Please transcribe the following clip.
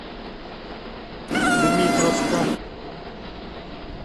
дмитровска